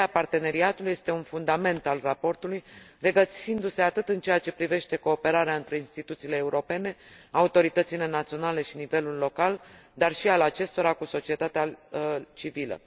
Ideea parteneriatului este un fundament al raportului, regăsindu se atât în ceea ce privește cooperarea între instituțiile europene, autoritățile naționale și nivelul local, dar și a acestora cu societatea civilă.